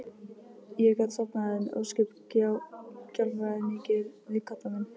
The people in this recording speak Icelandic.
Ég gat sofnað en ósköp gjálfraði mikið við koddann minn.